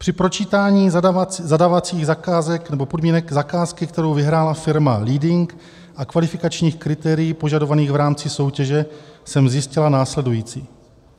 "Při pročítání zadávacích zakázek nebo podmínek zakázky, kterou vyhrála firma Leading, a kvalifikačních kritérií požadovaných v rámci soutěže jsem zjistila následující.